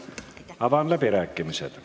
Avan läbirääkimised.